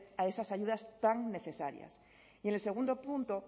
a esas ayudas tan necesarias y en el segundo punto